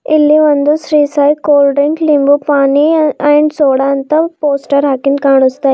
ಇಲ್ಲಿ ಒಂದು Shri Sai cold and limbu pani and soda ಅಂತ ಪೋಸ್ಟರ್ ಹಾಕಿನ್ ಕಾಣುಸ್ತಾಯಿದೆ.